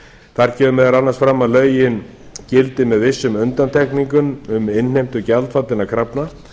þar kemur meðal annars fram að lögin gildi með vissum undantekningum um innheimtu gjaldfallinna krafna